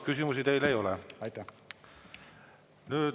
Küsimusi teile ei ole.